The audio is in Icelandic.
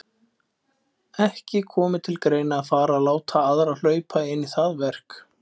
Ekki komi til greina að fara að láta aðra hlaupa inn í það verk.